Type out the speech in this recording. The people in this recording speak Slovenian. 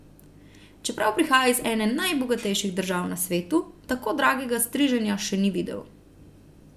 Čeprav prihaja iz ene najbogatejših držav na svetu, tako dragega striženja še ni videl.